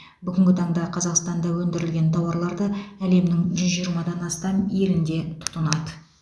бүгінгі таңда қазақстанда өндірілген тауарларды әлемнің жүз жиырмадан астам елінде тұтынады